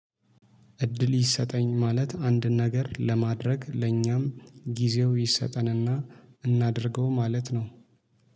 እድል ይሰጠኝ ማለት አንድ ነገር ለማድረግ ለኛም ጊዜው ይሰጠንና እናድርገው ማለት ነው።